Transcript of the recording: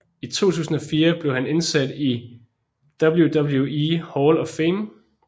I 2004 blev han indsat i WWE Hall of Fame